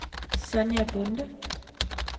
Sonja Bonde